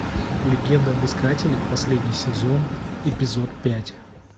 легенда об искателе последний сезон эпизод пять